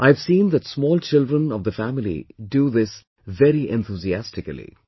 I have seen that small children of the family do this very enthusiastically